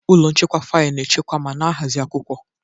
Ụlọ nchekwa faịlụ na-echekwa ma na-ahazi akwụkwọ.